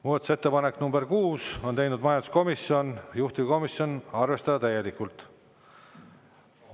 Muudatusettepanek nr 6, on teinud majanduskomisjon, juhtivkomisjon: arvestada täielikult.